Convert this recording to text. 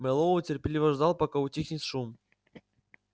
мэллоу терпеливо ждал пока утихнет шум